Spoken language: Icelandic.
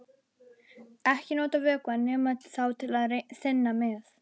Ekki nota vökvann nema þá til að þynna með.